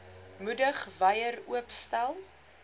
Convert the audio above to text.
moedig wyer oopstel